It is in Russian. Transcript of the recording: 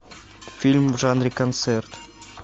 фильм в жанре концерт